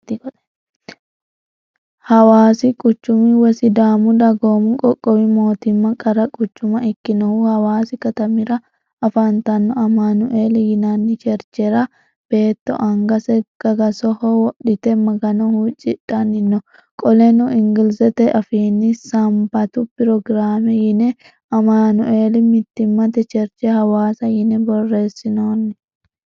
Hawaasi quchumi woyi sidaamu dagoomi qoqqowi mootimma qara quchuma ikkinohu hawaasi katamira afantanno amanueli yinanni cherchera beetto angase gagasoho wodhite magano huuccidhanni no. Qoleno ingilizete afiinni sambatu pirogiraame yine amanueli mittimmate cherche hawaasa yine borreessinoonni.